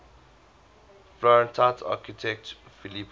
florentine architect filippo